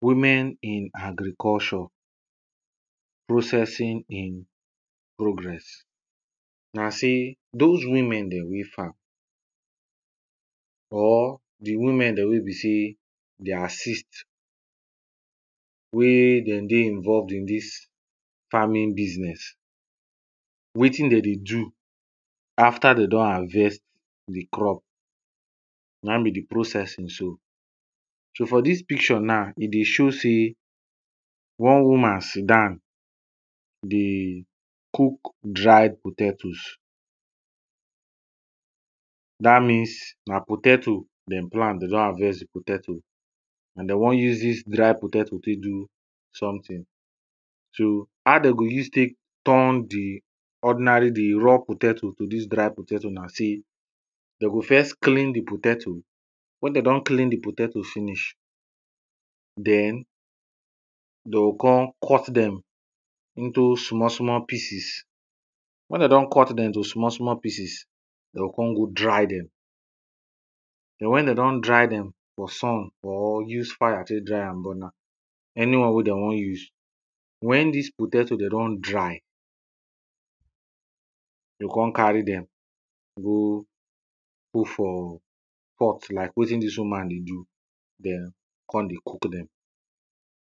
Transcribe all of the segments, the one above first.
women in agriculture, processing in progress. na sey, dose women dem wey farm, or the women dem wey be sey dey assist, wey dem dey involved in dis farming business. wetin de dey do after de don harvest the crop, na in be the processing so. so for dis picture na, e dey show sey, one woman sit down dey cook dry potatoes. dat means, na potato dem plant de don harvest the potato, and de wan use dis dry potato tey do someting. so, how de go use tek turn the ordinary the raw potato to dis dry potato na sey, de go first clean the potato wen de don clean the potato finish, den, de o con cut dem into small small pieces, wen de don cut dem to small small pieces, de o con go dry dem, den wen de don dry dem for sun or use fire tey dry am, burn am any one de wan use, wen dis potato, dem don dry, go con carry dem go put for pot like wetin dis woman dey do dem con dey cook dem.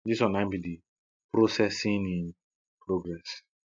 dis one na in be the processing in progress.